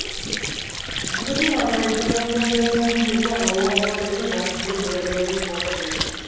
আলু তো লাগাই ছিলাম তো ও দেশে কি বলবো আবহাওয়া লেগেছে গাছ গুলো মোরে গেলো ঐ যে কুয়াশা যে